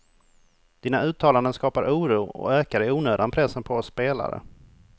Dina uttalanden skapar oro, och ökar i onödan pressen på oss spelare.